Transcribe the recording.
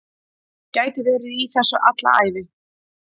Get verið í þessu alla ævi